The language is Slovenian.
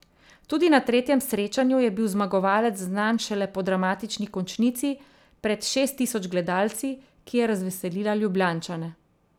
Tudi na tretjem srečanju je bil zmagovalec znan šele po dramatični končnici pred šest tisoč gledalci, ki je razveselila Ljubljančane.